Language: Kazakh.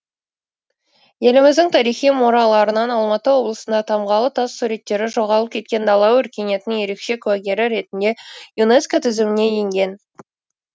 еліміздің тарихи мұраларынан алматы облысындағы тамғалы тас суреттері жоғалып кеткен дала өркениетінің ерекше куәгері ретінде юнеско тізіміне енген